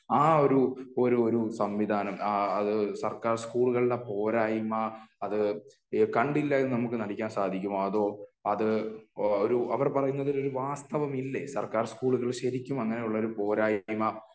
ആ ഒരു ഒരുഒരു സംവിധാനം അത് സർക്കാർ സ്കൂളുകളുടെ പോരായ്മ അത് കണ്ടില്ല എന്ന് നമുക്ക് നടിക്കാൻ സാധിക്കുമോ അതോ അത് ഒരു അവർ പറയുന്നതിൽ ഒരു വാസ്തവം ഇല്ലേ സർക്കാർ സ്കൂളുകൾ ശെരിക്കും അങ്ങിനെയുള്ളൊരു പോരായ്മ